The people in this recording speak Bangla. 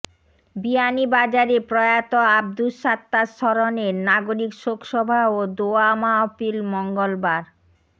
বিয়ানীবাজারে প্রয়াত আব্দুস সাত্তার স্মরণে নাগরিক শোকসভা ও দোয়া মাহফিল মঙ্গলবার